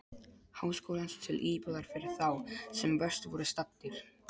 Háskólans til íbúðar fyrir þá, sem verst voru staddir.